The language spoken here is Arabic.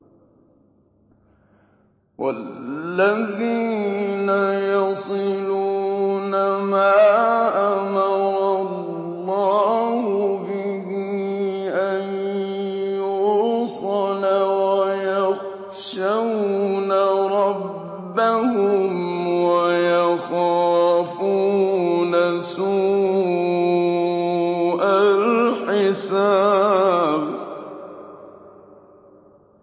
وَالَّذِينَ يَصِلُونَ مَا أَمَرَ اللَّهُ بِهِ أَن يُوصَلَ وَيَخْشَوْنَ رَبَّهُمْ وَيَخَافُونَ سُوءَ الْحِسَابِ